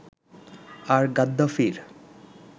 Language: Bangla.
আর গাদ্দাফির